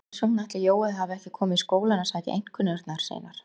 Hvers vegna ætli Jói hafi ekki komið í skólann að sækja einkunnirnar sínar?